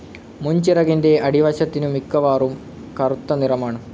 മുൻചിറകിന്റെ അടിവശത്തിനു മിക്കവാറും കറുത്തനിറമാണ്.